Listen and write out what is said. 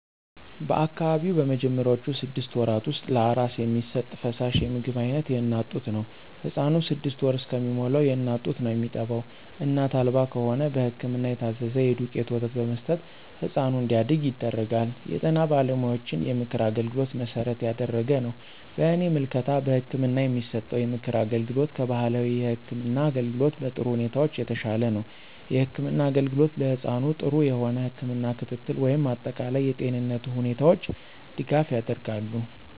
በአካባቢው በመጀመሪያውቹ ስድስት ወራት ውስጥ ለአራስ የሚሰጥ ፈሳሽ የምግብ አይነት የእናት ጡት ነው። ህፃኑ ስድስት ወር እስከሚሞላዉ የእናት ጡት ነው የሚጠባው እናት አልባ ከሆነ በህክምና የታዘዘ የዱቄት ወተት በመስጠት ህፃኑ እንዲያድግ ይደረጋል። የጤና ባለሙያዎችን የምክር አገልግሎት መሠረት ያደረገ ነው። በእኔ ምልከታ በህክምና የሚሰጠው የምክር አገልግሎት ከባህላዊ የህክም አገልግሎት በጥሩ ሁኔታዎች የተሻለ ነው። የህክምና አገልግሎት ለህፃኑ ጥሩ የሆነ የህክም ክትትል ወይም አጠቃላይ የጤንነቱ ሁኔታዎች ድጋፍ ያደርጋሉ።